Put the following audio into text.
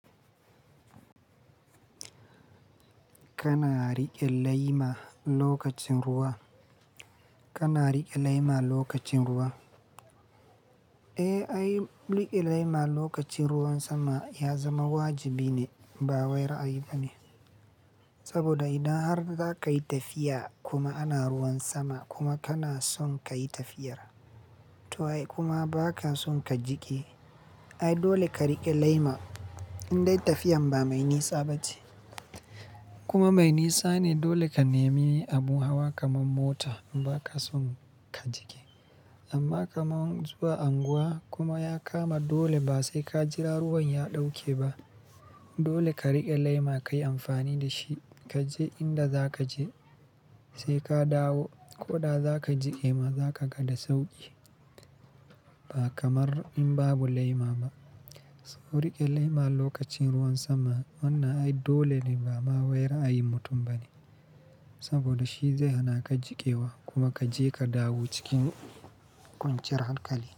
Kana riƙe laima lokacin ruwa. Kana riƙe laima lokacin ruwa. Eh, ai riƙe laima lokacin ruwan sama ya zama wajibi ne ba wairayi bane. Saboda idan har za ka yi tafiya kuma ana ruwan sama kuma kana son ka yi tafiyar t'ai kuma ba ka son ka jike, ai dole ka riƙe laima indai tafiyan ba mai nisa ba ce. Kuma mai nisa ne dole ka nemi abu hawa kamar mota ba ka son ka jike. Amma kamar zuwa unguwa kuma ya kama dole ba sai ka jira ruwan ya ɗauke ba. Dole ka riƙe laima ka yi amfani da shi ka je inda za ka je sai ka dawo. Ko da za ka jike ma za ka kada sauƙi ba kamar in babu laima ba. So riƙe laima lokacin ruwan sama wannan ai dole ne ba ma wairayi mutum ba ne saboda shi zai hana ka jikewa kuma ka je ka dawo cikin ƙuncin hankali.